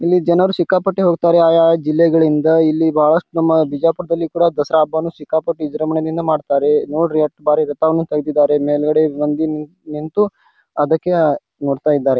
ಇಲ್ಲಿ ಜನರು ಸಿಕ್ಕಾಪಟ್ಟೆ ಹೊಕ್ಕಾತಾರೆ ಯಾ ಯಾ ಜಿಲ್ಲೆಗಳಿಂದ ಇಲ್ಲಿ ಬಹಳಷ್ಟು ನಮ್ಮ ಬಿಜಾಪುರದಲ್ಲಿ ಕೂಡ ದಸರಾ ಹಬ್ಬನು ಸಿಕ್ಕಾಪಟ್ಟಿ ವಿಜೃಂಬಣೆಯಿಂದ ಮಾಡತ್ತಾರೆ. ನೋಡ್ರಿ ಯಾಟ್ಟ್ ಭಾರಿ ಘಟ್ಟವನ್ನು ಕೈದಿದ್ದಾರೆ ಮೇಲಗಡೆ ಒಂದಿನ್ ನಂತ್ತು ಅದಕ್ಕೆ ನೋಡತ್ತಾ ಇದ್ದಾರೆ.